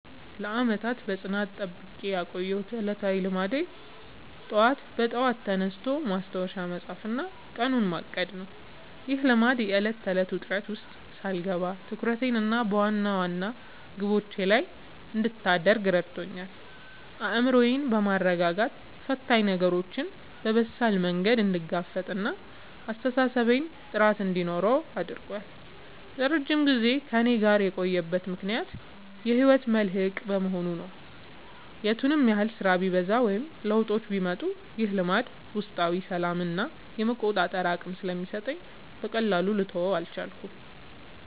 ለዓመታት በጽናት ጠብቄ ያቆየሁት ዕለታዊ ልማዴ ጠዋት በጠዋት ተነስቶ ማስታወሻ መጻፍና ቀኑን ማቀድ ነው። ይህ ልማድ የዕለት ተዕለት ውጥረት ውስጥ ሳልገባ ትኩረቴን በዋና ዋና ግቦቼ ላይ እንድታደርግ ረድቶኛል። አእምሮዬን በማረጋጋት ፈታኝ ነገሮችን በበሳል መንገድ እንድጋፈጥና ለአስተሳሰቤ ጥራት እንዲኖረው አድርጓል። ለረጅም ጊዜ ከእኔ ጋር የቆየበት ምክንያት የህይወቴ መልህቅ በመሆኑ ነው። የቱንም ያህል ስራ ቢበዛ ወይም ለውጦች ቢመጡ፣ ይህ ልማድ ውስጣዊ ሰላምና የመቆጣጠር አቅም ስለሚሰጠኝ በቀላሉ ልተወው አልቻልኩም።